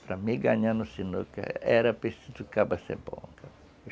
Para mim ganhar no sinuca, era preciso o cara ser bom.